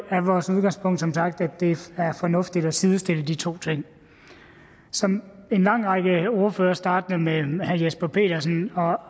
er vores udgangspunkt som sagt at det er fornuftigt at sidestille de to ting som en lang række ordførere startende med herre jesper petersen har